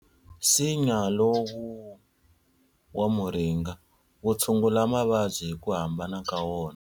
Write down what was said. Nsinya lowu wa muringa wu tshungula mavabyi hi ku hambana ka wona.